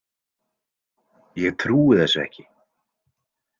Ég trúi þessu ekki.